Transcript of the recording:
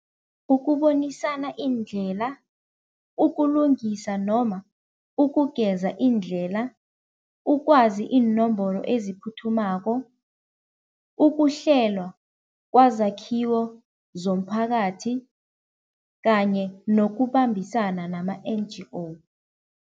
Ukubonisana iindlela, ukulungiswa noma ukugeza iindlela, ukwazi iinomboro eziphuthumako, ukuhlelwa kwazakhiwo zomphakathi kanye nokubambisana nama-N_G_O.